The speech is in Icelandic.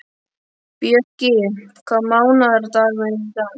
Bjöggi, hvaða mánaðardagur er í dag?